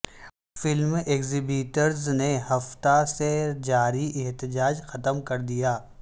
film exhibitors نے ہفتہ سے جاری احتجا ج ختم کر دیا